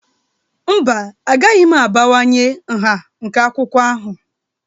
Mba, agaghị m abawanye nha nke akwụkwọ ahụ